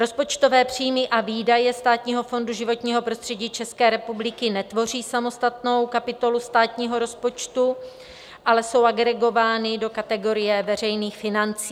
Rozpočtové příjmy a výdaje Státního fondu životního prostředí České republiky netvoří samostatnou kapitolu státního rozpočtu, ale jsou agregovány do kategorie veřejných financí.